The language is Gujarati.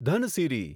ધનસિરી